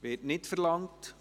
– Dies wird nicht verlangt.